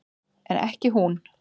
En ekki hún.